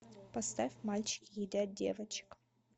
поставь мальчики едят девочек